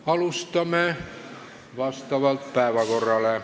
Alustame päevakorra järgi.